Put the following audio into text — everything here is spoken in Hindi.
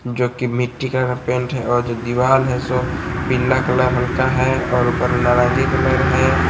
जो की मिट्टी का पेंट है और जो दीवाल है सो पीला कलर हल्का है और उपर नारंगी कलर है।